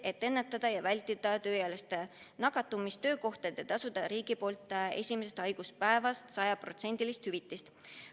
Et ennetada ja vältida tööealiste nakatumist töökohtadel, võiks riik maksta esimesest haiguspäevast alates sajaprotsendilist hüvitist.